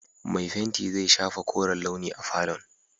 Mai fenti zai shafa koren launi a falon.